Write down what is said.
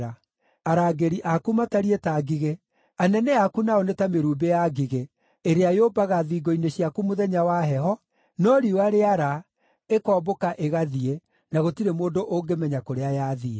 Arangĩri aku matariĩ ta ngigĩ, anene aku nao nĩ ta mĩrumbĩ ya ngigĩ, ĩrĩa yũmbaga thingo-inĩ ciaku mũthenya wa heho, no riũa rĩara, ĩkombũka ĩgathiĩ, na gũtirĩ mũndũ ũngĩmenya kũrĩa yathiĩ.